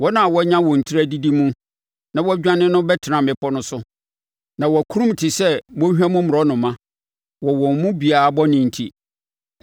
Wɔn a wɔanya wɔn tiri adidi mu na wɔadwane no bɛtena mmepɔ no so. Na wɔakurum te sɛ mmɔnhwa mu mmorɔnoma wɔ wɔn mu biara bɔne enti.